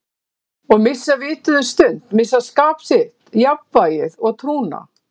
Og missa vitið um stund, missa skap sitt, jafnvægið og trúna.